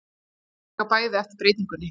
Þau taka bæði eftir breytingunni.